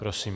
Prosím.